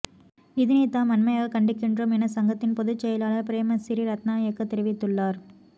இதனை தாம் வன்மையாகக் கண்டிக்கின்றோம் என சங்கத்தின் பொதுச் செயலாளர் பிரேமசிறி ரத்னாயக்க தெரிவித்துள்ளார்